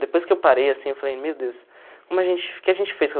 Depois que eu parei asaim, eu falei, meu Deus, como a gente o que a gente fez com